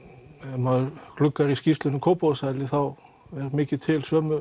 maður gluggar í skýrslur um Kópavogshæli þá er mikið til sömu